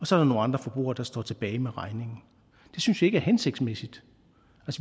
så er nogle andre forbrugere der står tilbage med regningen det synes vi ikke er hensigtsmæssigt